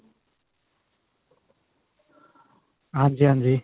ਹਾਂਜੀ ਹਾਂਜੀ